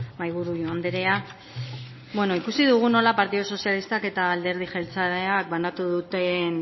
mahaiburu andrea beno ikusi dugu nola partidu sozialistak eta alderdi jeltzaleak banatu duten